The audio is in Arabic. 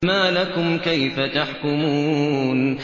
مَا لَكُمْ كَيْفَ تَحْكُمُونَ